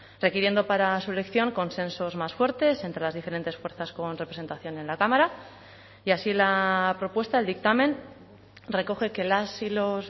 requiriendo para su elección consensos más fuertes entre las diferentes fuerzas con representación en la cámara y así la propuesta el dictamen recoge que las y los